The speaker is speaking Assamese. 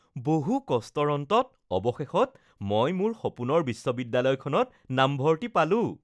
বহু কষ্টৰ অন্তত অৱশেষত মই মোৰ সপোনৰ বিশ্ববিদ্যালয়খনত নামভৰ্তি পালো